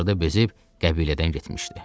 Axırda bezib qəbilədən getmişdi.